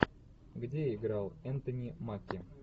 где играл энтони маки